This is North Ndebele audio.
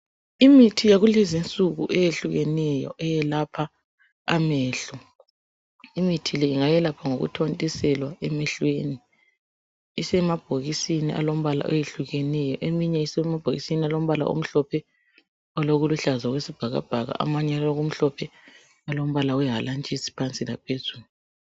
Imithi yakulezinsuku eyehlukeneyo eyelapha amehlo imithi le ingayelapha ngokuthontiselwa emehlweni isemabhokisini alombala oyehlukeneyo eminye isemabhokisini alombala omhlophe olokuluhlaza okwesibhakabhaka amanye alokumhlophe alombala wehalantshisi phansi laphezulu